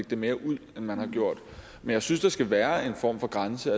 det mere ud end man har gjort men jeg synes der skal være en form for grænse